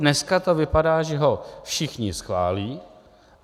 Dneska to vypadá, že ho všichni schválí.